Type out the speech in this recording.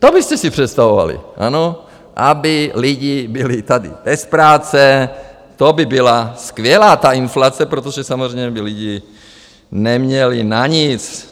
To byste si představovali, ano, aby lidi byli tady bez práce, to by byla skvělá ta inflace, protože samozřejmě by lidi neměli na nic.